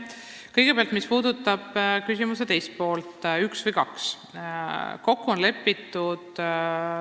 Kõigepealt sellest, mis puudutab küsimuse teist poolt, kas üks gümnaasium või kaks gümnaasiumi.